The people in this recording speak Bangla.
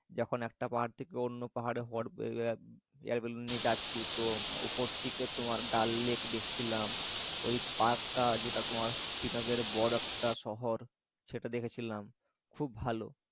যখন একটা পাহাড় থেকে অন্য পাহাড় hot air balloon নিয়ে যাচ্ছি তো উপর থেকে তোমার ডাল লেক দেখতে পাচ্ছিলাম ঐ পার্কটা যেটা তোমার শ্রীনগরে বড় একটা শহর সেটা দেখেছিলাম খুব ভালো।